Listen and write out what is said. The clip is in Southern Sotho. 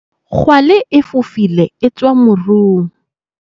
Kgwale e fofile e tswa morung.